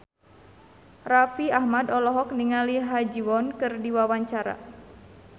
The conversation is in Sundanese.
Raffi Ahmad olohok ningali Ha Ji Won keur diwawancara